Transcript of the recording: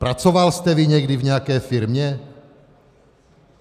Pracoval jste vy někdy v nějaké firmě?